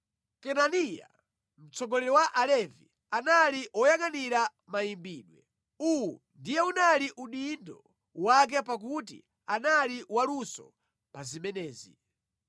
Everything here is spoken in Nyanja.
Kenaniya, mtsogoleri wa Alevi anali woyangʼanira mayimbidwe; uwu ndiye unali udindo wake pakuti anali waluso pa zimenezi.